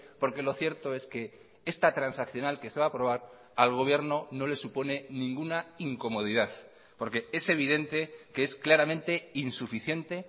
porque lo cierto es que esta transaccional que se va a aprobar al gobierno no le supone ninguna incomodidad porque es evidente que es claramente insuficiente